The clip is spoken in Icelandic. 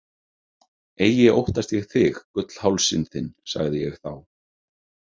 Eigi óttast ég þig, gullhálsinn þinn, sagði ég þá.